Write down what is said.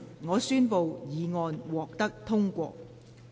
我宣布議案獲得通過。